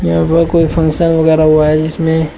यहां पर कोई फंक्शन वगैरह हुआ है जिसमें--